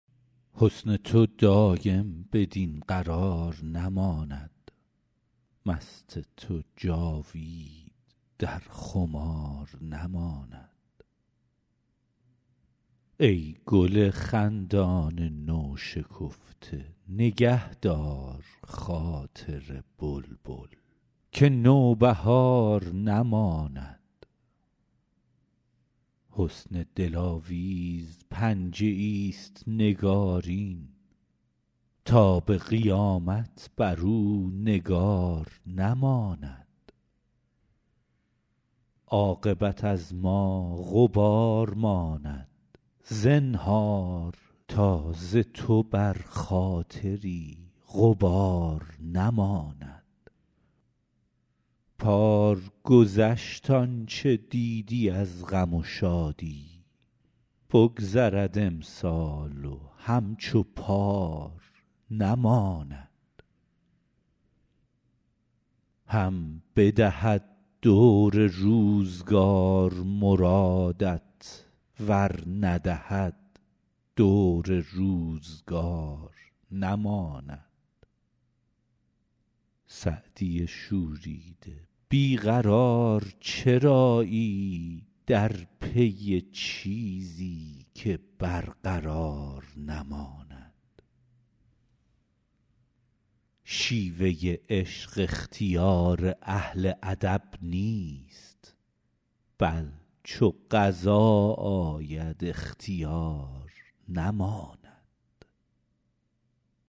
حسن تو دایم بدین قرار نماند مست تو جاوید در خمار نماند ای گل خندان نوشکفته نگه دار خاطر بلبل که نوبهار نماند حسن دلاویز پنجه ایست نگارین تا به قیامت بر او نگار نماند عاقبت از ما غبار ماند زنهار تا ز تو بر خاطری غبار نماند پار گذشت آن چه دیدی از غم و شادی بگذرد امسال و همچو پار نماند هم بدهد دور روزگار مرادت ور ندهد دور روزگار نماند سعدی شوریده بی قرار چرایی در پی چیزی که برقرار نماند شیوه عشق اختیار اهل ادب نیست بل چو قضا آید اختیار نماند